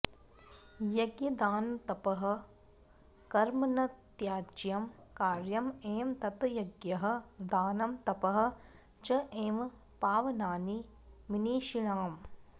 यज्ञदानतपःकर्म न त्याज्यं कार्यम् एव तत् यज्ञः दानं तपः च एव पावनानि मनीषिणाम्